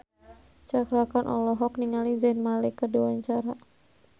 Cakra Khan olohok ningali Zayn Malik keur diwawancara